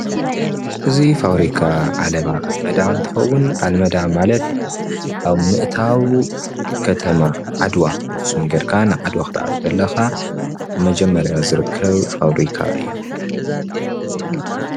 እዚ ፋበሪካ ዓለባ አልመዳ እንትከውን አልመዳ ማለት አብ ምእታው ከተማ ዓድዋ ብአክሱም ገይርካ ንዓድዋ ክትአቱ ከለካ መጀመሪያ ዝርከብ ፋብሪካ እዩ፡፡